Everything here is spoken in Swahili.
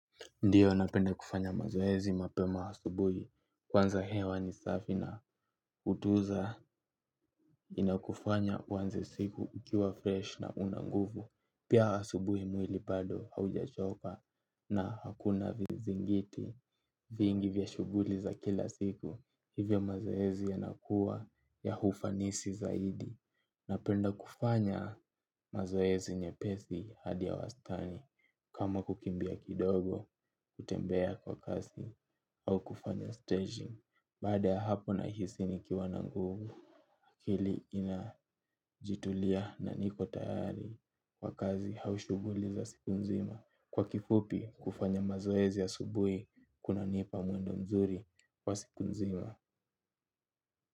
Ndiyo napenda kufanya mazoezi mapema asubuhi kwanza hewa ni safi na hutuza inakufanya uanze siku ukiwa fresh na una nguvu. Pia asubuhi mwili bado haujachoka na hakuna vizingiti vingi vya shughuli za kila siku hivyo mazoezi yanakuwa ya ufanisi zaidi. Napenda kufanya mazoezi nyepesi hadi ya wastani kama kukimbia kidogo, kutembea kwa kasi au kufanya staging baada ya hapo nahisi nikiwa na nguvu hili inajitulia na niko tayari kwa kazi au shughuli za siku nzima kwa kifupi kufanya mazoezi asubuhi kunanipa mwendo mzuri wa siku nzima.